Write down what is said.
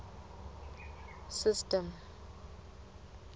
system